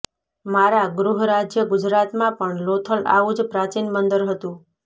મારાં ગૃહરાજ્ય ગુજરાતમાં પણ લોથલ આવું જ પ્રાચીન બંદર હતું